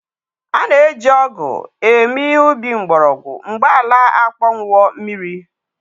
A na-eji ọgụ eme ihe ubi mgbọrọgwụ mgbe ala akpọnwụwo mmiri.